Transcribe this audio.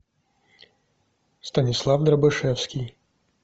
станислав дробышевский